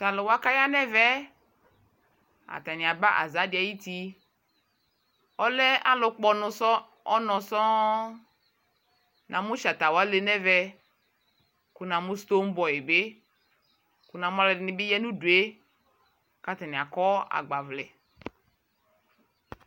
Taluwa kaya nɛvɛɛ atani aba azadi ayiti alɛɛ alukpɔ unɔɔ sɔɔŋ namu shatawale nɛvɛ ku namu Stone Boy bi kuna'u aluɛdini bi yaa nudue katani akɔɔ agbavlɛ